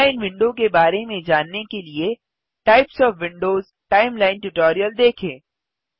timeline window के बारे में जानने के लिए types of Windows timeline tutorial देखें